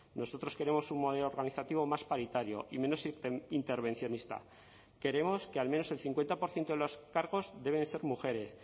nosotros queremos un modelo organizativo más paritario y menos intervencionista queremos que al menos el cincuenta por ciento de los cargos deben ser mujeres